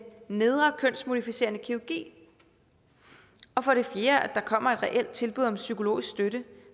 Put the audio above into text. nedre kønsmodificerende kirurgi og for det fjerde at der kommer et reelt tilbud om psykologisk støtte